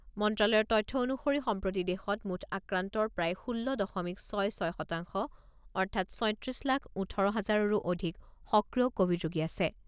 মন্ত্ৰ্যালয়ৰ তথ্য অনুসৰি সম্প্ৰতি দেশত মুঠ আক্ৰান্তৰ প্ৰায় ষোল্ল দশমিক ছয় ছয় শতাংশ অৰ্থাৎ, ছয়ত্ৰিছ লাখ ওঠৰ হাজৰৰো অধিক সক্ৰিয় ক'ভিড ৰোগী আছে।